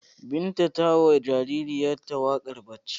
Binta ta yi wa jaririnta wakar barci.